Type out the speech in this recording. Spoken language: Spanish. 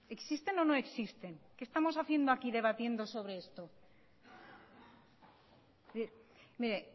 existen o no existen qué estamos haciendo aquí debatiendo sobre esto mire